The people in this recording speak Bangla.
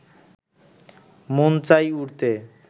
মন চাই উড়তে